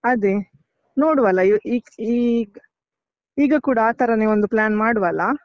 ಅದೇ ನೋಡುವಲ ಈಗ್ ಈಗ್ ಈಗ ಕೂಡ ಆತರನೆ ಒಂದು plan ಮಾಡುವಲಾ?